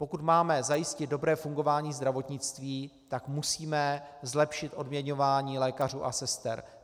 Pokud máme zajistit dobré fungování zdravotnictví, tak musíme zlepšit odměňování lékařů a sester.